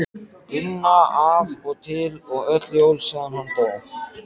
Gunna af og til og öll jól síðan hann dó.